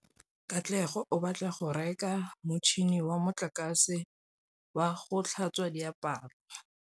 Katlego o batla go reka motšhine wa motlakase wa go tlhatswa diaparo.